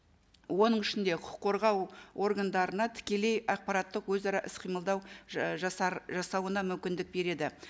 оның ішінде құқық қорғау органдарына тікелей ақпараттық өзара іс қимылдау жасауына мүмкіндік береді